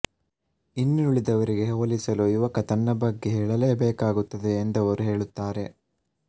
ಇನ್ನುಳಿದವರಿಗೆ ಹೋಲಿಸಲು ಯುವಕ ತನ್ನ ಬಗ್ಗೆ ಹೇಳಲೇಬೇಕಾಗುತ್ತದೆ ಎಂದವರು ಹೇಳುತ್ತಾರೆ